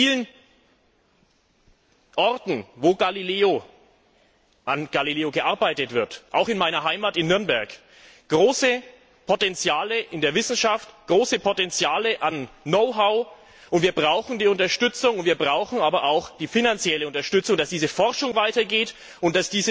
Wir haben an den vielen Orten, an denen an Galileo gearbeitet wird auch in meiner Heimat in Nürnberg große Potenziale in der Wissenschaft, große Potenziale an Know how, und wir brauchen die Unterstützung, vor allem die finanzielle Unterstützung, damit diese Forschung weitergeht und